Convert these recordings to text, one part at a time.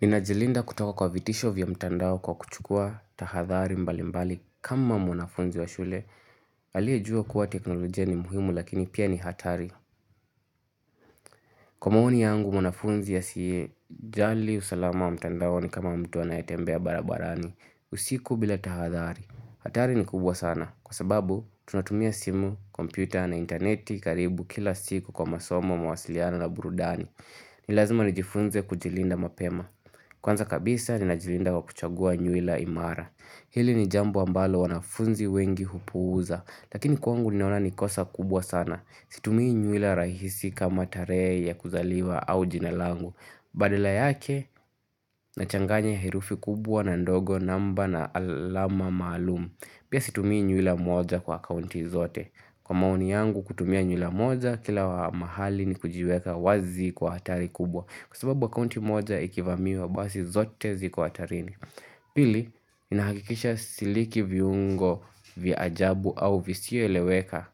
Ninajilinda kutoka kwa vitisho vya mtandao kwa kuchukua tahadhari mbali mbali kama mwanafunzi wa shule. Aliyejua kuwa teknolojia ni muhimu lakini pia ni hatari. Kwa maoni yangu mwanafunzi asiyejali usalama wa mtandao ni kama mtu anayetembea barabarani. Usiku bila tahadhari. Hatari ni kubwa sana kwa sababu tunatumia simu, kompyuta na intaneti karibu kila siku kwa masomo mawasiliano na burudani. Ni lazima nijifunze kujilinda mapema. Kwanza kabisa ni najilinda kwa kuchagua nywila imara Hili ni jambo ambalo wanafunzi wengi hupuuza Lakini kwangu ninaona ni kosa kubwa sana Situmii nywila rahisi kama tarehe ya kuzaliwa au jinalangu Badala yake na changanya herufi kubwa na ndogo namba na alama maalumu Pia situmii nywila moja kwa akaunti zote Kwa maoni yangu kutumia nywila moja kila mahali ni kujiweka wazi kwa hatari kubwa Kwa sababu akaunti moja ikivamiwa basi zote ziko hatarini Pili, ninahakikisha siliki viungo, vya ajabu au visio eleweka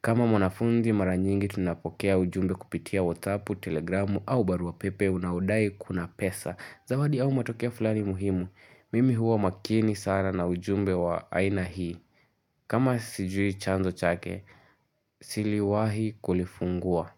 kama mwanafundi mara nyingi tunapokea ujumbe kupitia whatsaou, telegramu au barua pepe unaodai kuna pesa Zawadi au matokeo fulani muhimu, mimi huwa makini sana na ujumbe wa aina hii kama sijui chanzo chake, siliwahi kulifungua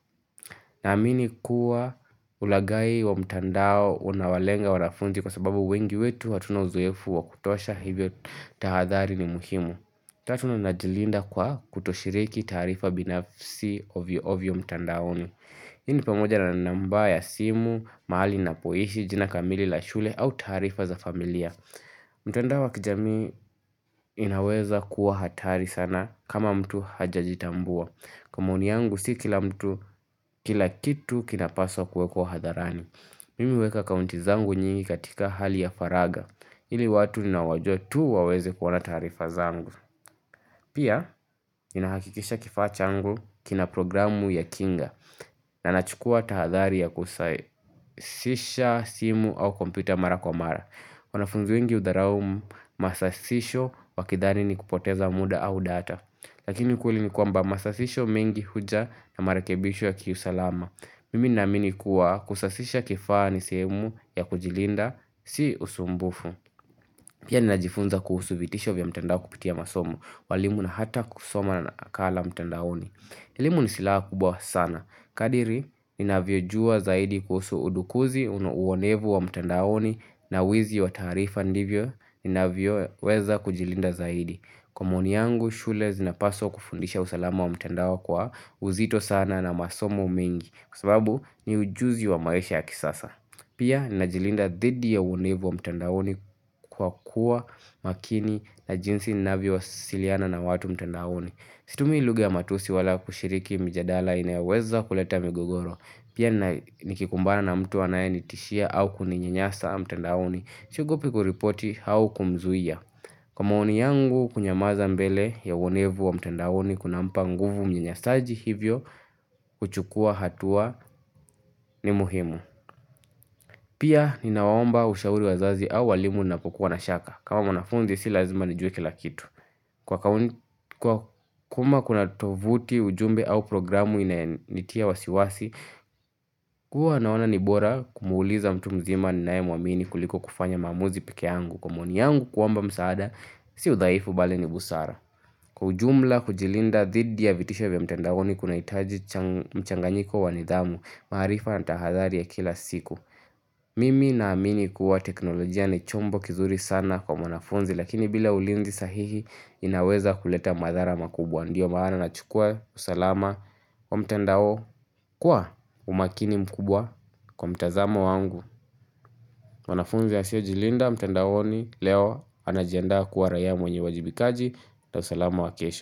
na amini kuwa ulagai wa mtandao unawalenga wanafunzi kwa sababu wengi wetu hatuna uzoefu wa kutosha hivyo tahadhari ni muhimu. Tatu ninajilinda kwa kutoshiriki taarifa binafsi ovyo ovyo mtandaoni. Hii ni pamoja na namba ya simu, mahali na poishi, jina kamili la shule au taarifa za familia. Mtandao wa kijamii inaweza kuwa hatari sana kama mtu hajajitambua. Kwa maoni yangu si kila mtu, kila kitu kinapaswa kuwekwa hadharani Mimi huweka akaunti zangu nyingi katika hali ya faraga ili watu ninaowajua tu waweze kuona taarifa zangu Pia, inahakikisha kifaa changu kina programu ya kinga na nachukua tahadhari ya kusai Sisha simu au kompyuta mara kwa mara wanafunzi wengi udharao masasisho wakidhani ni kupoteza muda au data Lakini ukweli ni kwamba masasisho mengi huja na marekebisho ya kiusalama. Mimi naamini kuwa kusasisha kifaa ni sehemu ya kujilinda si usumbufu. Pia ninajifunza kuhusu vitisho vya mtandao kupitia masomo. Walimu na hata kusoma nakala mtandaoni. Elimu ni silaha kubwa sana. Kadiri, nina vyojua zaidi kuhusu udukuzi uonevu wa mtandaoni na wizi wa taarifa ndivyo. Nina vyo weza kujilinda zaidi. Kwa maoni yangu shule zinapaswa kufundisha usalama wa mtandao kwa uzito sana na masomo mengi Kwa sababu ni ujuzi wa maisha ya kisasa Pia najilinda dhidi ya uonevu wa mtandaoni kwa kuwa makini na jinsi ninavyo wasiliana na watu mtandaoni Situmii luga ya matusi wala kushiriki mijadala inayoweza kuleta migogoro Pia nikikumbana na mtu anaye nitishia au kuninyanyasa mtandaoni siogopi kuripoti au kumzuia Kwa maoni yangu kunyamaza mbele ya uonevu wa mtendawoni kuna mpa nguvu mnanyasaji hivyo kuchukua hatua ni muhimu. Pia ninawaomba ushauri wazazi au walimu na kukuwa na shaka. Kama mwanafunzi si lazima nijue kila kitu. Kwa kuma kuna tovuti ujumbe au programu inayenitia wasiwasi, kuwa naona nibora kumuuliza mtu mzima ni naye muamini kuliko kufanya maamuzi pekeangu. Kwa maoni yangu kuomba msaada, si udhaifu bali ni busara. Kwa ujumla kujilinda dhidi ya vitisho vya mtandaoni kunahitaji mchanganyiko wa nidhamu, maarifa na tahadhari ya kila siku. Mimi na amini kuwa teknolojia ni chombo kizuri sana kwa mwanafunzi Lakini bila ulinzi sahihi inaweza kuleta madhara makubwa ndiyo maana na chukua usalama kwa mtandao kuwa umakini mkubwa kwa mtazamo wangu mwanafunzi asiyejilinda mtandaoni leo anajiandaa kuwa raia mwenye uwajibikaji na usalama wa kesho.